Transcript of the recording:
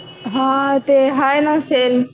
हां ते हाय ना सेल.